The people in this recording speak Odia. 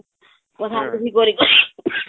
ଗଧାଁ ଗୁଧି କରିକରି